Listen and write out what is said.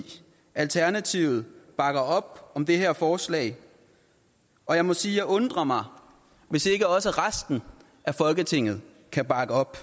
alternativet bakker op om det her forslag og jeg må sige at jeg undrer mig hvis ikke også resten af folketinget kan bakke op